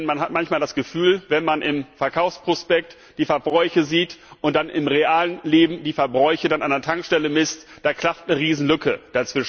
Denn man hat manchmal das Gefühl, dass, wenn man im Verkaufsprospekt die Verbräuche sieht und dann im realen Leben die Verbräuche an der Tankstelle misst, da eine Riesenlücke klafft.